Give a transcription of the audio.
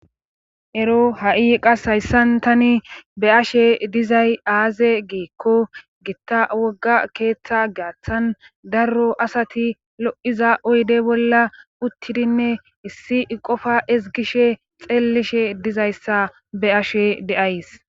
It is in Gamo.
ero ha7i qas hayssan tani be ashe dizay aaze geekko gitta wogga keeththa gaaththan darro asati lo7iza oyde bolla uttidinne issi qofa ezgishe xeellishe dizayssa be ashe deays